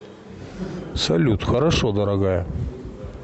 салют хорошо дорогая